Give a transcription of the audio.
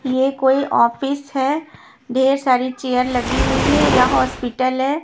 ये कोई ऑफिस है ढेर सारी चेयर लगी हुई है या हॉस्पिटल है।